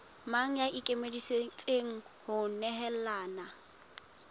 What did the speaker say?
mang ya ikemiseditseng ho nehelana